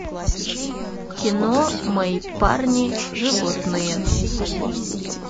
кино мои парни животные